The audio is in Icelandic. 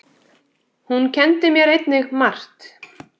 Hún kenndi mér einnig margt.